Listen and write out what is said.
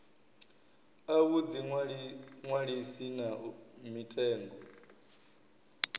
a vhuḓi ṅwalisi na mitengo